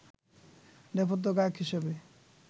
নেপথ্য গায়ক হিসেবে